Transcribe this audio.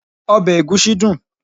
obe egusi dun